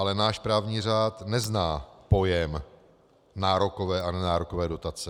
Ale náš právní řád nezná pojem nárokové a nenárokové dotace.